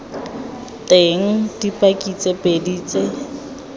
teng dipaki tse pedi tse